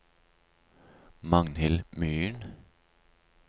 Magnhild Myhren